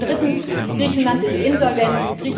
Drittens Griechenland ist insolvent.